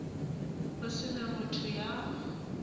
ho se na motho ya